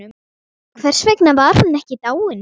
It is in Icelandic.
Hvers vegna var hún ekki dáin?